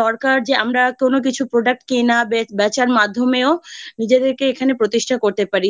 দরকার যে আমরা কোনও কিছু product কেনা বেচার মাধ্যমেও নিজেদেরকে এখানে প্রতিষ্ঠা করতে পারি।